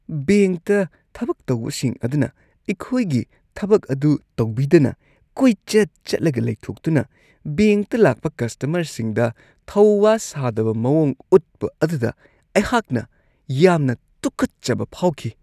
ꯕꯦꯡꯛꯇ ꯊꯕꯛ ꯇꯧꯕꯁꯤꯡ ꯑꯗꯨꯅ ꯑꯩꯈꯣꯏꯒꯤ ꯊꯕꯛ ꯑꯗꯨ ꯇꯧꯕꯤꯗꯅ ꯀꯣꯏꯆꯠ-ꯆꯠꯂꯒ ꯂꯩꯊꯣꯛꯇꯨꯅ ꯕꯦꯡꯛꯇ ꯂꯥꯛꯄ ꯀꯁꯇꯃꯔꯁꯤꯡꯗ ꯊꯧꯋꯥ-ꯁꯥꯗꯕ ꯃꯋꯣꯡ ꯎꯠꯄ ꯑꯗꯨꯗ ꯑꯩꯍꯥꯛꯅ ꯌꯥꯝꯅ ꯇꯨꯀꯠꯆꯕ ꯐꯥꯎꯈꯤ ꯫